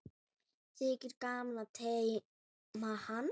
Þykir gaman að teyma hann.